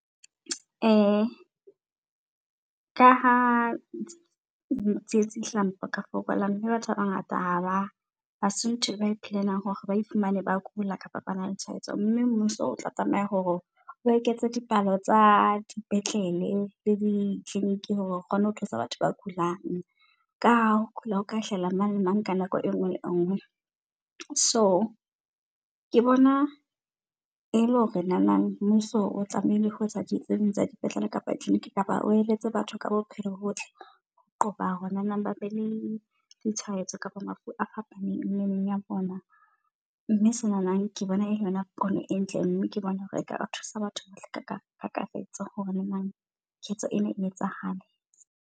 Ka ha tsietsi hae hlaha mabaka a fokola mme batho ba bangata ha ba hase ntho eba e plan-ang hore ba iphumane ba kula kapa ba na le tshaetso. Mme mmuso o tla tlameya hore o eketse dipalo tsa dipetlele tse di-clinic hore o kgone ho thusa batho ba kulang ka ho kula o ka hlahela mang le nna, ka nako e nngwe le engwe. So ke bona e le hore nanang mmuso o tlamehile ho etsa tse ding tsa di petlele kapa o eletse batho ka bo phepo bo botle ho qoba hona ba be le di tshwaetsi kabo mafu a fapaneng mmeleng ya bona. Mme senana ke bona ele yona pono e ntle. Mme ke bone hore eka thusa batho ba tle ka kakaretso hore na ketso ena e etsahale.